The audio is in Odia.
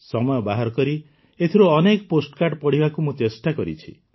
ସମୟ ବାହାର କରି ଏଥିରୁ ଅନେକ ପୋଷ୍ଟକାର୍ଡ଼ ପଢ଼ିବାକୁ ମୁଁ ଚେଷ୍ଟା କରିଛି